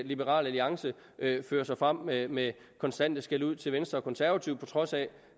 liberal alliance fører sig frem med med konstante skældud til venstre og konservative på trods af